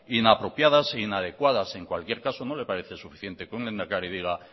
inapropiadas e inadecuadas en cualquier caso no le parece suficiente que un lehendakari diga